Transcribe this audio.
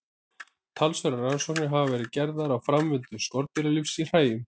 Talsverðar rannsóknir hafa verið gerðar á framvindu skordýralífs í hræjum.